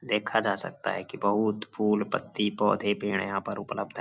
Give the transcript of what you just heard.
देखा जा सकता है की बहुत फूल पति पोधे पेड़ यहाँ पर उपलब्ध हैं।